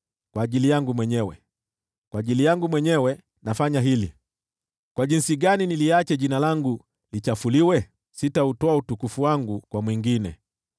Kwa ajili yangu mwenyewe, kwa ajili yangu mwenyewe, nafanya hili. Jinsi gani niliache Jina langu lichafuliwe? Sitautoa utukufu wangu kwa mwingine.